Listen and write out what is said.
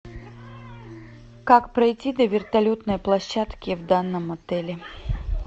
как пройти до вертолетной площадки в данном отеле